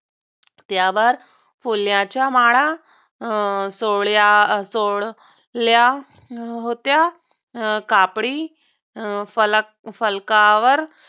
त्यावर फुलाच्या माळा अं सोळ्यासोडल्या होत्या. कापडी फलक फलकावर